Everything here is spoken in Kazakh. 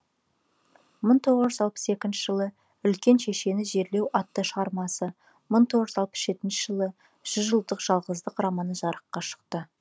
мың тоғыз жүз алпыс екінші жылы үлкен шешені жерлеу атты шығармасы мың тоғыз жүз алпыс жетінші жылы жүз жылдық жалғыздық романы жарыққа шықты